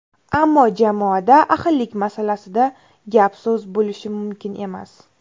Ammo jamoada ahillik masalasida gap-so‘z bo‘lishi mumkin emas.